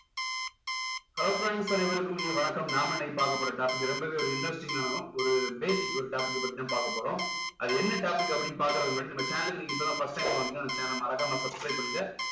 hello friends அனைவருக்கும் இனிய வணக்கம் நாம இன்னைக்கு பார்க்க போற topic ரொம்பவே ஒரு interesting ஆவும் ஒரு basic ஒரு topic பத்தி தான் பாக்க போறோம் அது என்ன topic அப்படின்னு பாக்கறதுக்கு முன்னாடி நம்ம channel க்கு நீங்க இப்போதான் first time வந்தீங்கன்னா நம்ம channel ல மறக்காம subscribe பண்ணுங்க